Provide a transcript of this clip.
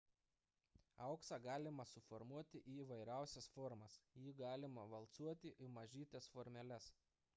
auksą galima suformuoti į įvairiausias formas jį galima valcuoti į mažytes formeles